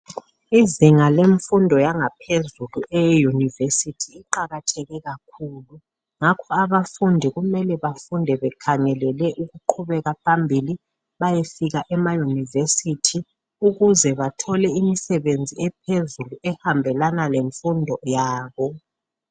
Izinga lemfundo yangaphezulu eyeyunivesithi iqakatheke kakhulu ngakho abafundi kumele bafunde bekhangelele ukuqhubeka phambili bayefika emayunivesithi ukuze bathole imisebenzi ephezulu ehambelana lemfundo yabo.